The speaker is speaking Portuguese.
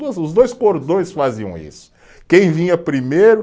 Os dois cordões faziam isso, quem vinha primeiro